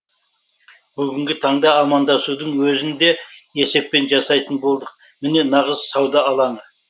бүгінгі таңда амандасудың өзін де есеппен жасайтын болдық міне нағыз сауда алаңы